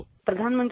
Sound byte